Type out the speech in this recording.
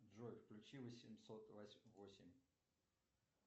джой включи восемьсот восемь